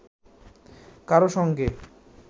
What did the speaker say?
কারো সঙ্গে